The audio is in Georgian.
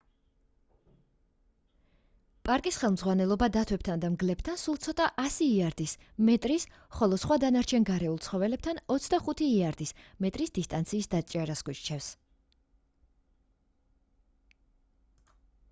პარკის ხელმძღვანელობა დათვებთან და მგლებთან სულ ცოტა 100 იარდის/მეტრის ხოლო სხვა დანარჩენ გარეულ ცხოველებთან 25 იარდის/მეტრის დისტანციის დაჭერას გვირჩევს